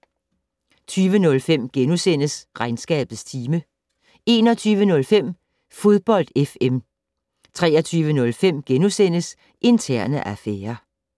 20:05: Regnskabets time * 21:05: Fodbold FM 23:05: Interne affærer *